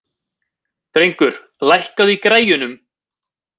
Drengur, lækkaðu í græjunum.